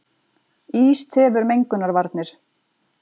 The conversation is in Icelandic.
Ís tefur mengunarvarnir